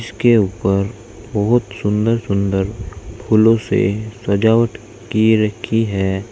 इसके ऊपर बहुत सुंदर सुंदर फूलों से सजावट की रखी है।